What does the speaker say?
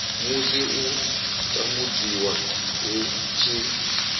musi u tambudziwa hu tshi